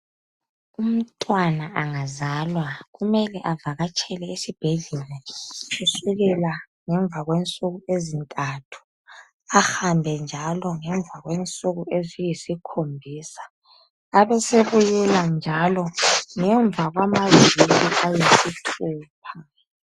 Umntwana angazalwa kumele uvakatshele esibhedlela kusukela ngemva kwensuku ezintathu ahambe njalo ngemva kwensuku eziyisikhombisa abesebuyela njalo ngemva kwamaviki ayisithupha.